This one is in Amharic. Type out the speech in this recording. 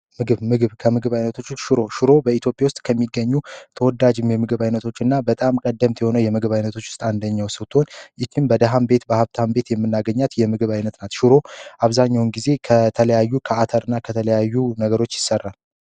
ምግብ ከምግብ አይነቶች ሽሮ ሽሮ በኢትዮጵያ ውስጥ ከሚገኙ ተወ የምግብ ዓይነቶች አንደኛው ስጦትን በደህን ቤት በሀብታም ቤት የምናገኛት የምግብ አይነት ሽሮ አብዛኛውን ጊዜ ከተለያዩ ከተለያዩ ነገሮች ይሰራል